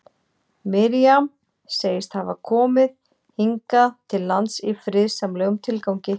Miriam segist hafa komið hingað til lands í friðsamlegum tilgangi.